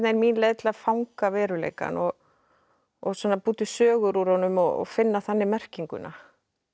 mín leið til að fanga veruleikann og og svona búa til sögur úr honum og finna þannig merkinguna